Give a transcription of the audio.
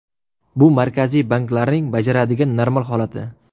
Bu Markaziy banklarning bajaradigan normal holati.